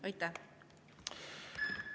Aitäh!